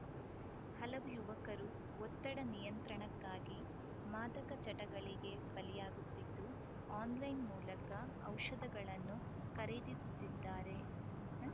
ಹಲವು ಯುವಕರು ಒತ್ತಡ ನಿಯಂತ್ರಣಕ್ಕಾಗಿ ಮಾದಕ ಚಟಗಳಿಗೆ ಬಲಿಯಾಗುತ್ತಿದ್ದು ಆನ್‌ಲೈನ್‌ ಮೂಲಕ ಔಷಧಗಳನ್ನು ಖರೇ ದಿಸುತ್ತಿದ್ದಾರೆ